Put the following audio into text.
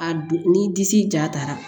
A du ni disi ja taara